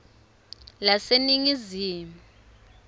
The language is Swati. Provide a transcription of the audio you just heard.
laseningizimu